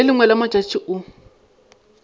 le lengwe la matšatši o